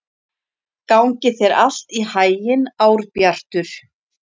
Gangi þér allt í haginn, Árbjartur.